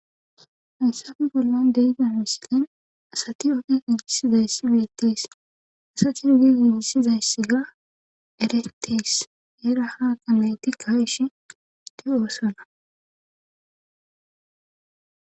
Haysafi bollan deyida misilen asati ofe igisizayssi beettees asati gi giigisizayssi ga eretees eera ha kamayti kaishi di'oosona.